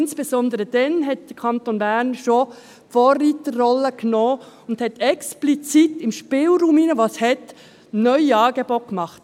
Insbesondere übernahm der Kanton Bern schon damals die Vorreiterrolle und machte innerhalb des Spielraums, den es gab, explizit neue Angebote.